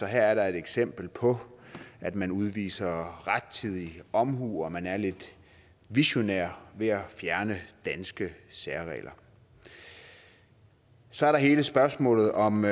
her er der et eksempel på at man udviser rettidig omhu og at man er lidt visionær ved at fjerne danske særregler så er der hele spørgsmålet om